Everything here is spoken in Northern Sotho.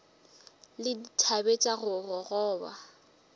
le dithabe tša go gogoba